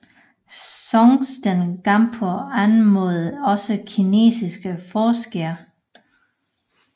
Songtsen Gampo anmodede også kinesiske forskere